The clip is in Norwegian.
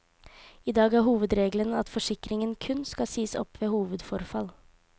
I dag er hovedregelen at forsikringen kun kan sies opp ved hovedforfall.